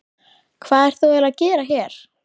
Hvað ert þú eiginlega að gera hér?